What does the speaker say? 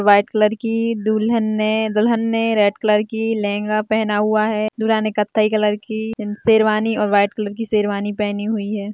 White colour की दुल्हन ने दुल्हन ने रेड कलर की लहंगा पहना हुआ है दूल्हा ने कथई कलर की शेरवानी और व्हाइट कलर शेरवानी पहनी हुई है।